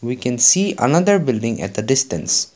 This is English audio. we can see another building at a distance.